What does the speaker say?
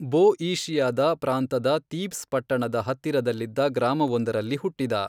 ಬೊಈಷಿಯಾದ ಪ್ರಾಂತದ ತೀಬ್ಸ್ ಪಟ್ಟಣದ ಹತ್ತಿರದಲ್ಲಿದ್ದ ಗ್ರಾಮವೊಂದರಲ್ಲಿ ಹುಟ್ಟಿದ.